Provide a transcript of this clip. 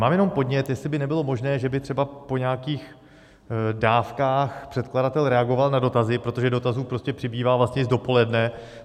Mám jenom podnět, jestli by nebylo možné, že by třeba po nějakých dávkách předkladatel reagoval na dotazy, protože dotazů prostě přibývá, vlastně z dopoledne.